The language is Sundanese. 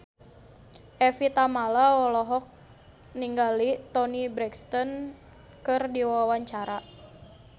Evie Tamala olohok ningali Toni Brexton keur diwawancara